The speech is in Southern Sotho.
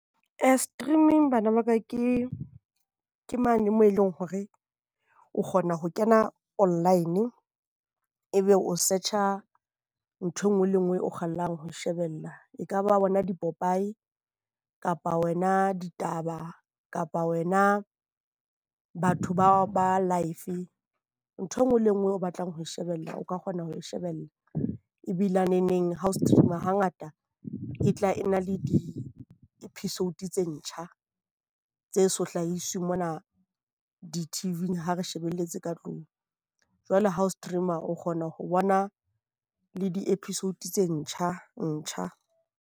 Streaming bana ba ka ke mane moo eleng hore o kgona ho kena online, e be o search-a nthwe nngwe le nngwe o kgallang ho e shebella. Ekaba bona di-popee. Kapa wena ditaba, kapa wena batho ba ba live. Ntho e nngwe le nngwe o batlang ho e shebella. O ka kgona ho e shebella ebilaneneng ha o stream-a hangata e tla e na le di-episode tse ntjha tse so hlahiswe mona di-TV-ng ha re shebelletse ka tlung. Jwale ha o stream-a o kgona ho bona le di-episode tse ntjha ntjha.